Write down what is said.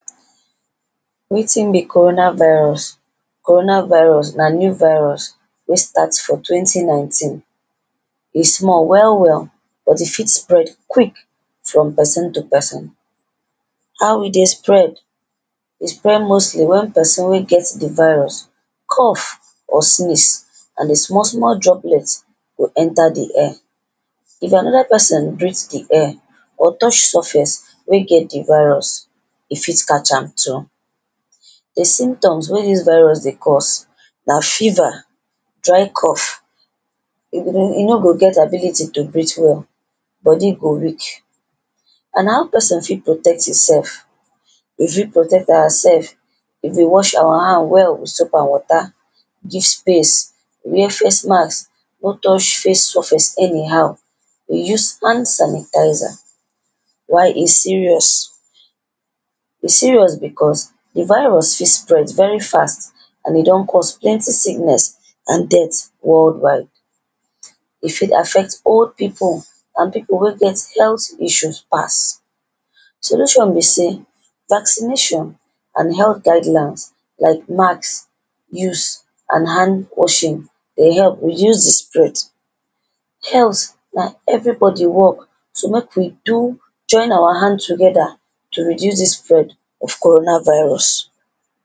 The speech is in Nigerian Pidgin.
Wetin be Corona Virus? Corona Virus na new virus wey start for twenty nineteen. E small well well but e fit spread quick from person to person. How e dey spread? E spread mostly when person wey get di virus cough or sneeze and di small small droplets go enter di air. If another person breathe di air or touch surface wey get di virus, e fit catch am too. The symptoms wey dis virus dey cause na fever, dry cough, you no go get ability to breathe well. Body go weak. And how person fit protect himself? We fit protect ourselves, if we go wash our hand with soap and water, give space, wear face mask, no touch face surface anyhow. We use hand sanitizer. Why e serious? E serious because di virus fit spread and e don cost plenty sickness and death worldwide. di virus fit spread very fast and e don cause plenty sickness and death worldwide. E fit affect old people and people wey get health issues pass. So which one be say vaccination and health guidelines like mask use and hand washing dey help reduce do spread. Health na everybody work so make we do, join our hand together to reduce dis spread of Corona Virus.